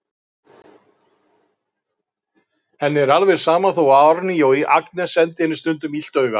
Henni er alveg sama þó að Árný og Agnes sendi henni stundum illt auga.